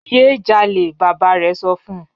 Ye jale baba rẹ sọ fun